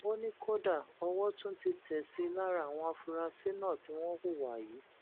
ó ní kódà owó tún ti tẹ sí i lára àwọn afurasí náà tí wọn hùwà yìí